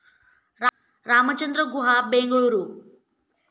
Ramchandra Guha, Bengaluru